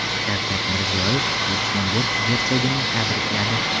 Shavkat Mirziyoyev Lyuksemburg gersogini tabrikladi.